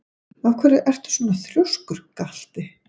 Af hverju ertu svona þrjóskur, Galti?